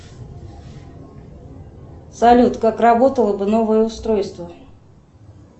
салют как работало бы новое устройство